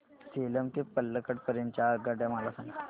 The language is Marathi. सेलम ते पल्लकड पर्यंत च्या आगगाड्या मला सांगा